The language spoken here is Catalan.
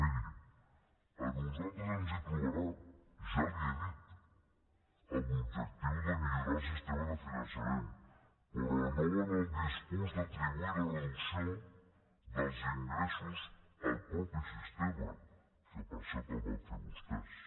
miri a nosaltres ens hi trobarà ja li ho he dit en l’objectiu de millorar el sistema de fiançament però no en el discurs d’atribuir la reducció dels ingressos al mateix sistema que per cert el van fer vostès